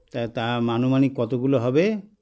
তাতা মানুমানিক কতগুলো হবে